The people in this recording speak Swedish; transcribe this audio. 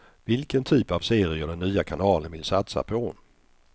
Vilken typ av serier den nya kanalen vill satsa på.